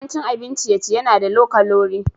Yawancin abin ciye-ciye na da low kalori.